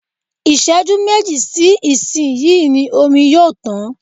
Ìṣẹ́jú méjì sí ìsin yìí ni omi yóò tán